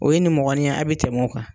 O ye nimɔgɔniya ye a' bɛ tɛmɛ o kan.